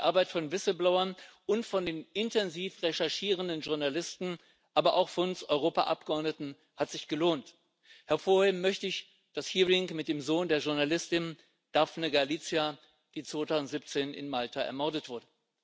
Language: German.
Die Arbeit von Whistleblowern und von den intensiv recherchierenden Journalisten, aber auch von uns Europaabgeordneten hat sich gelohnt. Hervorheben möchte ich das Hearing mit dem Sohn der Journalistin Daphne Galizia, die 2017 in Malta ermordet wurde.